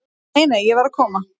"""Nei, nei, ég var að koma."""